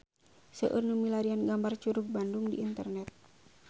Seueur nu milarian gambar Curug Bandung di internet